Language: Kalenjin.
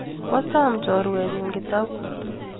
Kwa som choruenyu Kitabut